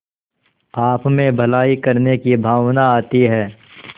आपमें भलाई करने की भावना आती है